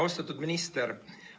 Austatud minister!